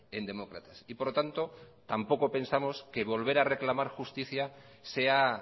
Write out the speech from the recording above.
en demócratas y por lo tanto tampoco pensamos que volver a reclamar justicia sea